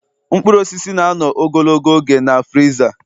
Mkpụrụ osisi na-anọ ogologo oge na friza